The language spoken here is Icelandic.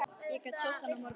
Ég get sótt hann á morgun.